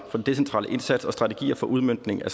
den decentrale indsats og strategier for udmøntning af